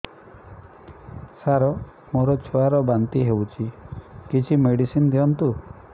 ସାର ମୋର ଛୁଆ ର ବାନ୍ତି ହଉଚି କିଛି ମେଡିସିନ ଦିଅନ୍ତୁ